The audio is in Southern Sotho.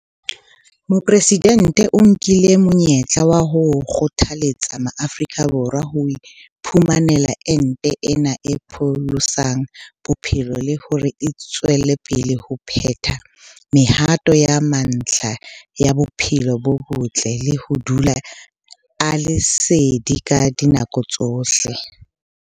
Mopresidente o nkile monyetla wa ho kgothaletsa Maafrika Borwa ho iphumanela ente ena e pholosang bophelo le hore a tswele pele ho phetha mehato ya mantlha ya bophelo bo botle le ho dula a le sedi ka dinako tsohle.